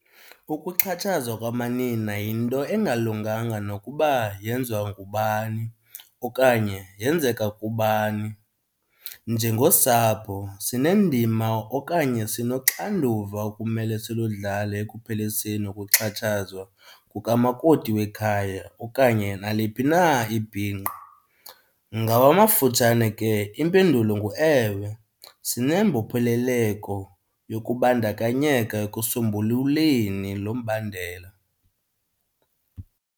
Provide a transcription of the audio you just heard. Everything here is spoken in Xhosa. Ukuxhatshazwa kwamanina yinto engalunganga nokuba yenziwa ngubani okanye yenzeka kubani. Njengosapho sinendima okanye sinoxanduva okumele siludlale ekupheliseni ukuxhatshazwa kukamakoti wekhaya okanye naliphi na ibhinqa. Ngawamafutshane ke impendulo nguewe, sinembopheleleko yokubandakanyeka ekusombululeni lo mbandela.